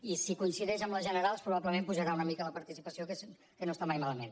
i si coincideix amb les generals probablement pujarà una mica la participació que no està mai malament